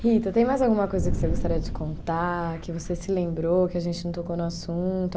Rita, tem mais alguma coisa que você gostaria de contar, que você se lembrou, que a gente não tocou no assunto?